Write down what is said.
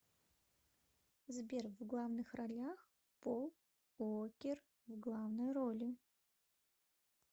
сбер в главных ролях пол уоккер в главной роли